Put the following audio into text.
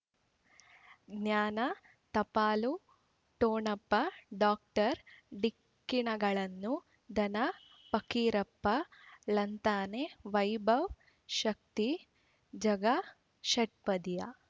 ಜ್ಞಾನ ಟಪಾಲು ಠೊಣಪ ಡಾಕ್ಟರ್ ಢಿಕ್ಕಿ ಣಗಳನು ಧನ ಫಕೀರಪ್ಪ ಳಂತಾನೆ ವೈಭವ್ ಶಕ್ತಿ ಝಗಾ ಷಟ್ಪದಿಯ